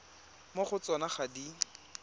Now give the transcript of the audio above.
mo go tsona ga di